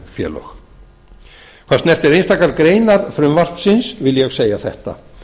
samvinnufélög hvað snertir einstakar greinar frumvarpsins vil ég segja þetta